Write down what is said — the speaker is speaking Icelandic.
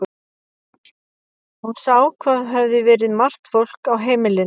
Hún sá hvað hafði verið margt fólk á heimilinu.